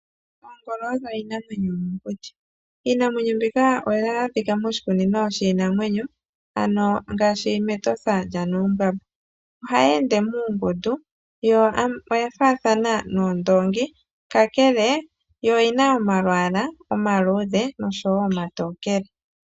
Oongolo odho iinamwenyo yomokuti. Iinamwenyo mbika oha yi adhika moshikunino shiinanwenyo Ngaashi mEtosha lyanuumbamba oha yi ende muungundu yo oyafaathana noondoongi kakele yo oyi na omalwaala omaluudhe oshowo omatokele.